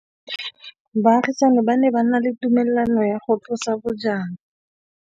Baagisani ba ne ba na le tumalanô ya go tlosa bojang.